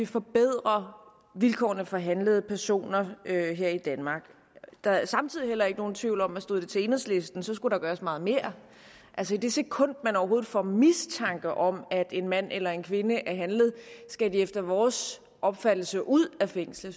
forbedre vilkårene for handlede personer her i danmark der er samtidig heller ikke nogen tvivl om at stod det til enhedslisten skulle der gøres meget mere altså i det sekund man overhovedet får mistanke om at en mand eller kvinde er handlet skal de efter vores opfattelse ud af fængslet